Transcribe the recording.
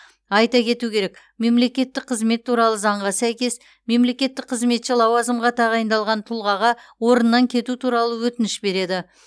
айта кету керек мемлекеттік қызмет туралы заңға сәйкес мемлекеттік қызметші лауазымға тағайындалған тұлғаға орнынан кету туралы өтініш береді